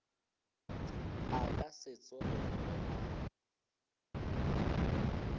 a ka se tsogego a